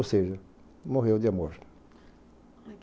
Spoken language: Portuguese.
Ou seja, morreu de amor.